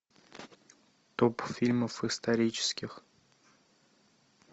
топ фильмов исторических